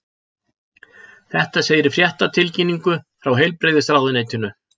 Þetta segir í fréttatilkynningu frá Heilbrigðisráðuneytinu